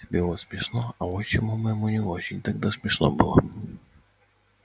тебе вот смешно а отчиму моему не очень тогда смешно было